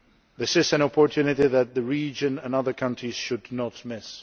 This is an opportunity that the region and other countries should not miss.